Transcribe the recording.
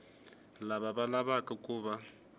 lava va lavaku ku va